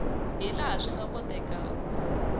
hi laha swi nga kotekaku